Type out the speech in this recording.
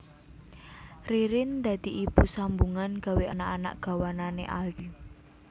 Ririn dadi ibu sambungan gawe anak anak gawanan e Aldi